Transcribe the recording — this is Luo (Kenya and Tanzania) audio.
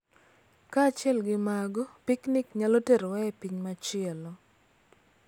Kaachiel gi mago, piknik nyalo terowa e piny machielo .